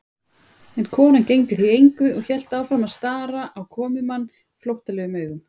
En konan gegndi því engu og hélt áfram að stara á komumann flóttalegum augum.